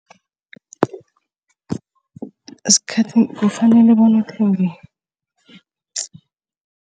kufanele bona uthenge